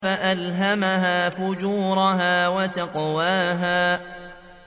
فَأَلْهَمَهَا فُجُورَهَا وَتَقْوَاهَا